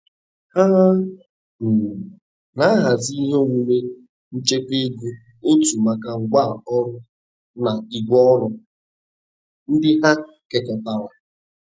Ha um na-ahazi ihe omume nchekwa ego otu maka ngwa orụ na igwe ọrụ ndị ha kekọritara.